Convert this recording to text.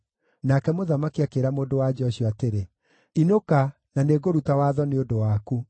Nake mũthamaki akĩĩra mũndũ-wa-nja ũcio atĩrĩ, “Inũka, na nĩngũruta watho nĩ ũndũ waku.”